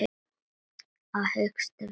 Hvað hyggist þér fyrir?